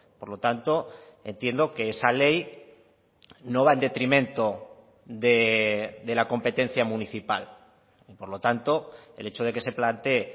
por lo tanto entiendo que esa ley no va en detrimento de la competencia municipal y por lo tanto el hecho de que se plantee